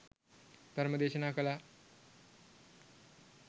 ධර්මදේශනා කළා.